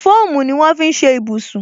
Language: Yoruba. Fóòmù ni wọn fi ń ṣe ibùsùn